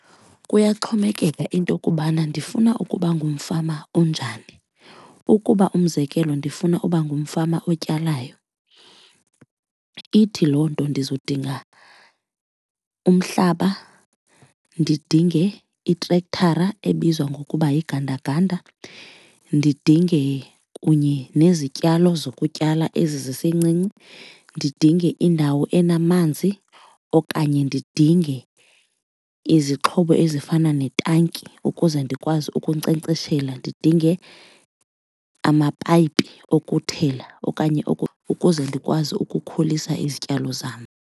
Kuyaxhomekeka intokubana ndifuna ukuba ngumfama onjani. Ukuba umzekelo ndifuna uba ngumfama otyalayo, ithi loo nto ndizodinga umhlaba, ndidinge itrektara ebizwa ngokuba yigandaganda. Ndidinge kunye nezityalo zokutyala ezisencinci, ndidinge indawo enamanzi okanye ndidinge izixhobo ezifana netanki ukuze ndikwazi ukunkcenkceshela, ndidinge amapayipi okuthela okanye ukuze ndikwazi ukukhulisa izityalo zam.